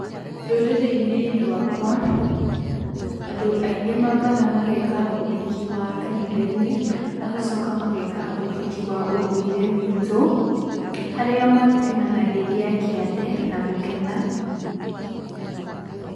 Rũrĩrĩ-inĩ rwakwa, andũ aingĩ maambaga mageeka ũhiki wa kanitha-inĩ magacoka mageeka ũhiki wa ũndũire witũ, harĩa matinanagĩria kĩande na gũkena.